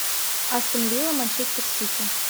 астон вилла манчестер сити